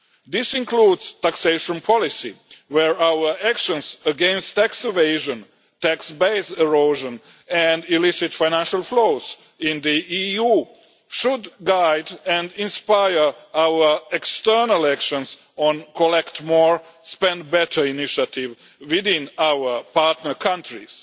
This includes taxation policy where our actions against tax evasion, tax base erosion and illicit financial flows in the EU should guide and inspire our external actions on the collect more spend better initiative within our partner countries.